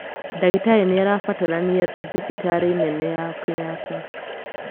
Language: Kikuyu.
ndagĩtarĩ nĩ arabatarania thibitarĩ-inĩ nene ya kenyatta